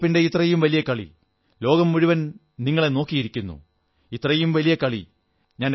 ലോക കപ്പിന്റെ ഇത്രയും വലിയ കളി ലോകം മുഴുവൻ നിങ്ങളെ നോക്കിയിരിക്കുന്നു ഇത്രയും വലിയ കളി